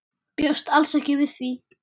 Bjóst alls ekki við því.